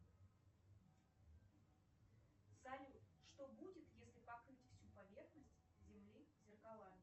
салют что будет если покрыть всю поверхность земли зеркалами